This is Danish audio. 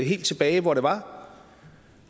helt tilbage hvor det var